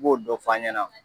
I b'o dɔn fɔ an ɲɛna.